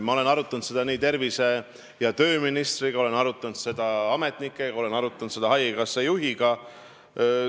Ma olen arutanud seda tervise- ja tööministriga, ma olen arutanud seda ametnikega, ma olen arutanud seda haigekassa juhiga.